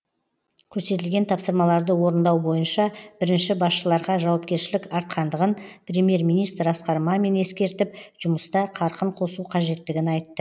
көрсетілген тапсырмаларды орындау бойынша бірінші басшыларға жауапкершілік артқандығын премьер министр асқар мамин ескертіп жұмыста қарқын қосу қажеттігін айтты